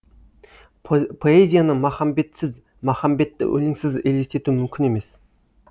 поэзияны махамбетсіз махамбетті өлеңсіз елестету мүмкін емес